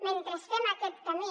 mentre fem aquest camí